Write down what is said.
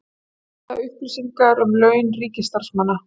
Birta upplýsingar um laun ríkisstarfsmanna